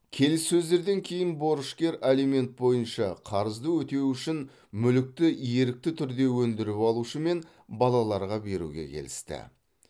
келіссөздерден кейін борышкер алимент бойынша қарызды өтеу үшін мүлікті ерікті түрде өндіріп алушы мен балаларға беруге келісті